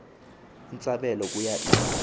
intsabelo kuya iza